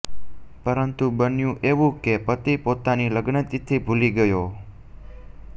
પરંતુ બન્યંુ એવું કે પતિ પોતાની લગ્નતિથિ ભૂલી ગયો